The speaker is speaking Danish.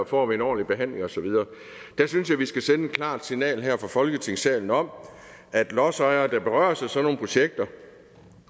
får en ordentlig behandling og så videre der synes jeg vi skal sende et klart signal her fra folketingssalen om at lodsejere der berøres af sådan nogle projekter